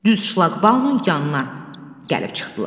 Düz şlakbaunun yanına gəlib çıxdılar.